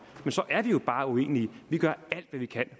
men så er vi jo bare uenige vi gør alt hvad vi kan